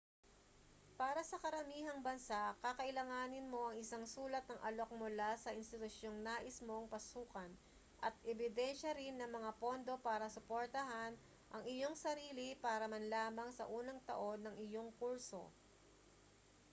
para sa karamihang bansa kakailanganin mo ang isang sulat ng alok mula sa institusyong nais mong pasukan at ebidensya rin ng mga pondo para suportahan ang iyong sarili para man lamang sa unang taon ng iyong kurso